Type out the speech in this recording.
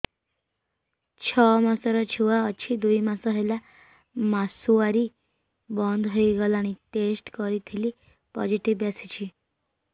ଛଅ ମାସର ଛୁଆ ଅଛି ଦୁଇ ମାସ ହେଲା ମାସୁଆରି ବନ୍ଦ ହେଇଗଲାଣି ଟେଷ୍ଟ କରିଥିଲି ପୋଜିଟିଭ ଆସିଛି